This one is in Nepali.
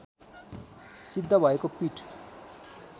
सिद्ध भएको पीठ